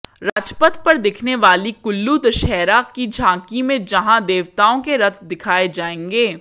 राजपथ पर दिखने वाली कुल्लू दशहरा की झांकी में जहां देवताओं के रथ दिखाए जाएंगे